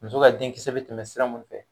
Muso ka denkisɛ bɛ tɛmɛ sira mun fɛ.